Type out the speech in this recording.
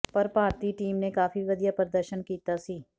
ਪਰ ਭਾਰਤੀ ਟੀਮ ਨੇ ਕਾਫੀ ਵਧੀਆ ਪ੍ਰਦਰਸ਼ਨ ਕੀਤਾ ਸੀ